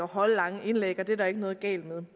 at holde lange indlæg og det er der ikke noget galt med